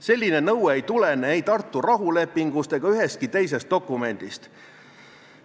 Selline nõue ei tulene ei Tartu rahulepingust ega ühestki teisest dokumendist.